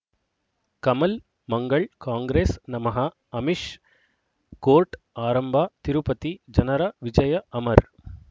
ಕಮಲ್ ಮಂಗಳ್ ಕಾಂಗ್ರೆಸ್ ನಮಃ ಅಮಿಷ್ ಕೋರ್ಟ್ ಆರಂಭ ತಿರುಪತಿ ಜನರ ವಿಜಯ ಅಮರ್